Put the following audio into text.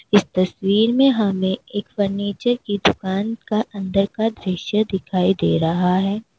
इस तस्वीर में हमें एक फर्नीचर की दुकान का अंदर का दृश्य दिखाई दे रहा है।